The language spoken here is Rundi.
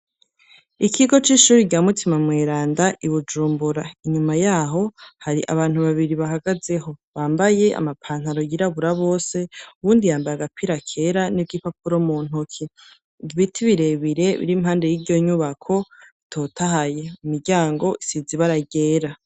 Ikigo c'ishuri rya mutima mweranda ibujumbura, inyuma yaho hari abantu babiri bahagaze ho bambaye amapantaro yirabura bose, uwundi yambaye agapira kera n'igipapuro mu ntoki ibiti birebire bir'impande y'iryo nyubako bitotahaye imiryango isizi ibara ryera.